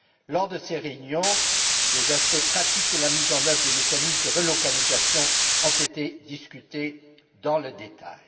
Lors de ces réunions, les aspects pratiques de la mise en oeuvre des mécanismes de relocalisation ont été examinés dans le détail.